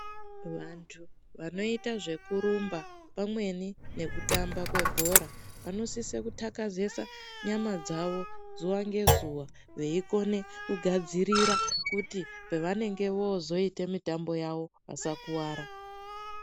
Vantu vanoite zvekurumba pamweni nekutamba kwebhora vanosise kutakazesa nyama dzavo zuva nezuva veigone kugadzirira kuti pavanenge vozoite mitambo yavo vasakuvara.